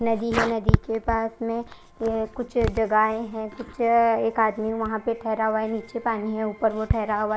नदी है नदी के पास में ऐ कुछ जगाहे है कुछ एक आदमी वहां पर ठहरा हुआ है निचे पानी है उपर वो ठहरा हुआ है।